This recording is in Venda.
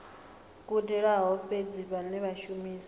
gudelaho fhedzi vhane vha shumisa